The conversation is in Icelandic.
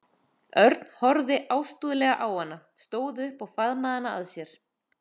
Örn horfði ástúðlega á hana, stóð upp og faðmaði hana að sér.